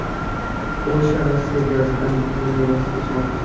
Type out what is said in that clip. Polsha Rossiya gazidan butunlay voz kechmoqchi.